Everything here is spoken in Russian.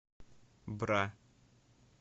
бра